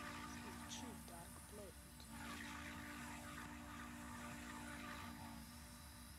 включи дарк плэнет